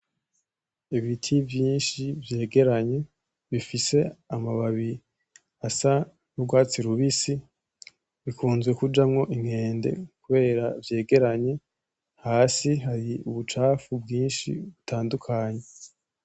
Ibiti vyinshi vyegeranye bifise amababi asa n'urwatsi rubisi, bikunzwe kujamwo inkende kubera vyegeranye, hasi hari ubucafu bwinshi butandukanye.